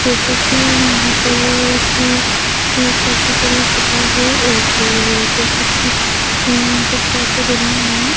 जैसे कि यहाँ पर कि कि काफी बड़ी जगह है और जैसे कि यहाँ पे काफी बनी हुई है।